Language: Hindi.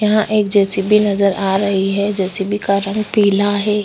यह एक जे सी बि नज़र आ रही हैं जे सी बि का रंग पीला हैं।